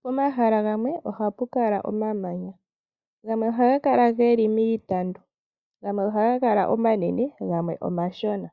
Poma hala gamwe ohapu kala oma manya, gamwe ohaga kala geli miitandu gamwe ohaga kala omanene gamwe omashona.